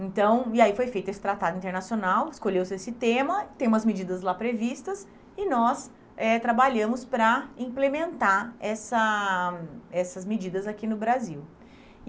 Então, e aí foi feito esse tratado internacional, escolheu-se esse tema, tem umas medidas lá previstas, e nós eh trabalhamos para implementar essa essas medidas aqui no Brasil.